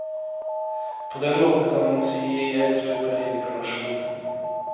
På den måten kan man si jeg tror på reinkarnasjon.